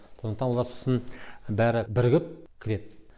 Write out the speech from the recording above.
сондықтан олар сосын бәрі бірігіп кіреді